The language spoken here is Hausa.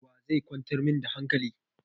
Wa zai kwantar min da hankali?